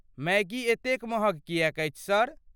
Maggi एतेक महग किएक अछि, सर?